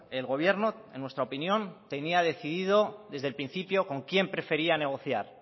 el gobierno en nuestra opinión tenía decidido desde el principio con quién prefería negociar